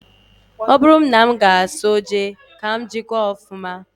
Ọ bụrụ na m ga-eso jee, ka m jikwaa ọfụma